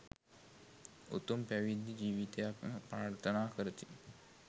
උතුම් පැවිදි ජීවිතයක්ම ප්‍රාර්ථනා කරති.